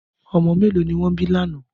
Ọmọ mẹ́lọ̀ ni wọn bí lánà?